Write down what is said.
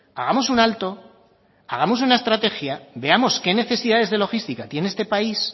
hagamos un alto hagamos una estrategia veamos qué necesidades de logística tiene este país